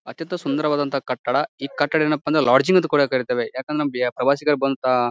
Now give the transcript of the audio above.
ಅತ್ಯಂತ ಸುಂದರವಾದಂತಹ ಕಟ್ಟಡ. ಈ ಕಟ್ಟಡ ಎನ್ನಪ್ಪ ಅಂದ್ರ ಲೊಡ್ಗಿಂಗ್ ಅಂತ ಕೂಡ ಕರೀತೇವೆ ಯಾಕಂದ್ರೆ ಪ್ರವಾಸಿಗರು ಬಂತ--